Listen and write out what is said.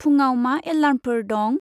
फुंआव मा एलार्मफोर दं?